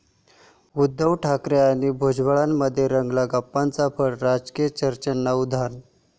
उद्धव ठाकरे आणि भुजबळांमध्ये रंगला गप्पांचा फड, राजकीय चर्चांना उधाण!